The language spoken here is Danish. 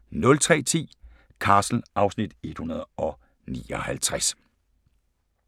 03:10: Castle (Afs. 159)